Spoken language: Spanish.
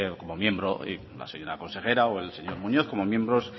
como miembro y la señora consejero o el señor muñoz como miembros